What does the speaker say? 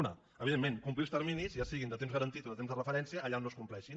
un evidentment complir els terminis ja siguin de temps garantit o de temps de referència allà on no es compleixin